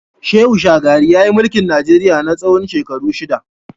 Shehu shagari yayi mulki Najeriya na tsawon shekaru shida.